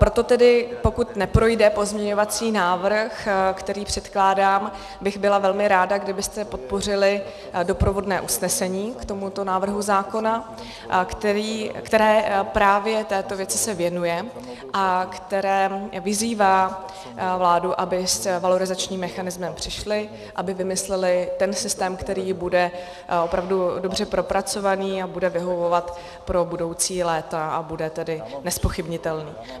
Proto tedy pokud neprojde pozměňovací návrh, který předkládám, bych byla velmi ráda, kdybyste podpořili doprovodné usnesení k tomuto návrhu zákona, které právě této věci se věnuje a které vyzývá vládu, aby s valorizačním mechanismem přišli, aby vymysleli ten systém, který bude opravdu dobře propracovaný a bude vyhovovat pro budoucí léta a bude tedy nezpochybnitelný.